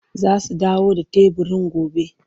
Za su dawo da teburin gobe,